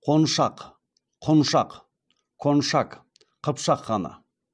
қоншақ құншақ коншак қыпшақ ханы